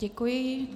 Děkuji.